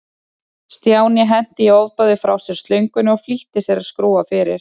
Stjáni henti í ofboði frá sér slöngunni og flýtti sér að skrúfa fyrir.